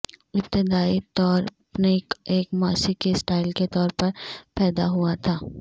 ابتدائی طور پنک ایک موسیقی سٹائل کے طور پر پیدا ہوا تھا